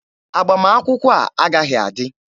Agbamakwụkwọ a agaghị adị!